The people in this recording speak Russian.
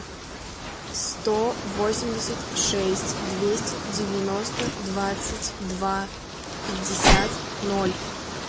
сто восемьдесят шесть двести девяносто двадцать два пятьдесят ноль